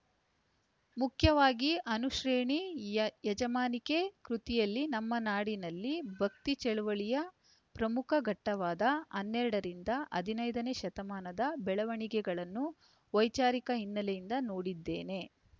ಮುಖ್ಯವಾಗಿ ಅನುಶ್ರೇಣಿ ಯ ಯಜಮಾನಿಕೆ ಕೃತಿಯಲ್ಲಿ ನಮ್ಮ ನಾಡಿನಲ್ಲಿ ಭಕ್ತಿ ಚಳವಳಿಯ ಪ್ರಮುಖ ಘಟ್ಟವಾದ ಹನ್ನೆರಡರಿಂದ ಹದಿನೈದನೇ ಶತಮಾನದ ಬೆಳವಣಿಗೆಗಳನ್ನು ವೈಚಾರಿಕ ಹಿನ್ನೆಲೆಯಿಂದ ನೋಡಿದ್ದೇನೆ